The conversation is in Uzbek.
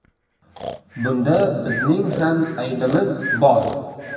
Bunda bizning ham aybimiz bor.